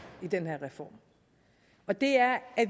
i den her reform og det er at